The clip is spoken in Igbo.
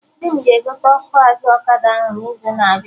Di m ga-egote ọkụ azụ ọkada ahụ n'izu na abịa